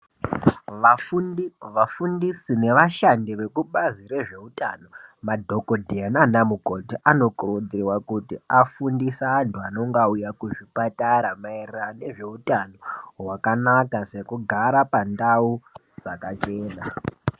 Vafundi, vafundisi nevashandi vekubazi rezvewutano, madhokodheya nanamukoti, anokurudzirwa kutu afundise antu anonga wuya kuzvipatara, mayererano nezvewutano wakanaka, sekugara pandau dzakachena.